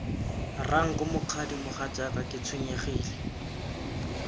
ranko mokgadi mogatsaka ke tshwenyegile